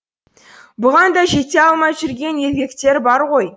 бұған да жете алмай жүрген еркектер бар ғой